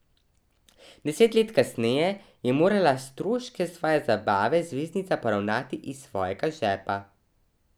Deset let kasneje je morala stroške svoje zabave zvezdnica poravnati iz svojega žepa.